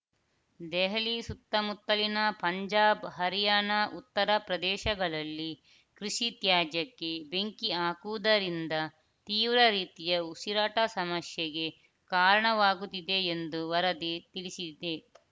ದೆಹಲಿ ಸುತ್ತಮುತ್ತಲಿನ ಪಂಜಾಬ್‌ ಹರ್ಯಾಣ ಉತ್ತರ ಪ್ರದೇಶಗಳಲ್ಲಿ ಕೃಷಿ ತ್ಯಾಜ್ಯಕ್ಕೆ ಬೆಂಕಿ ಹಾಕುವುದರಿಂದ ತೀವ್ರ ರೀತಿಯ ಉಸಿರಾಟ ಸಮಸ್ಯೆಗೆ ಕಾರಣವಾಗುತ್ತಿದೆ ಎಂದು ವರದಿ ತಿಳಿಸಿದೆ